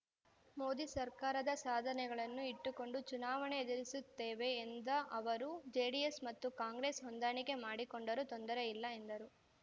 ಮೋದಿ ಸರ್ಕಾರದ ಸಾಧನೆಗಳನ್ನು ಇಟ್ಟುಕೊಂಡು ಚುನಾವಣೆ ಎದುರಿಸುತ್ತೇವೆ ಎಂದ ಅವರು ಜೆಡಿಎಸ್‌ ಮತ್ತು ಕಾಂಗ್ರೆಸ್‌ ಹೊಂದಾಣಿಕೆ ಮಾಡಿಕೊಂಡರೂ ತೊಂದರೆಯಿಲ್ಲ ಎಂದರು